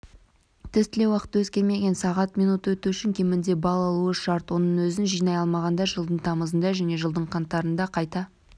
тестілеу уақыты өзгермеген сағат минут өту үшін кемінде балл алуы шарт оның өзін жинай алмағандар жылдың тамызында және жылдың қаңтарында қайта